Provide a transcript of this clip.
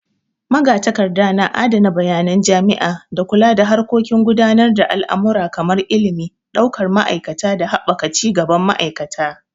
Magatakarda na adana bayanan jami'a, da kula da harkokin gudanar da al'amura kamar ilimi, daukar ma'aikata da haɓaka cigaban ma'aikata.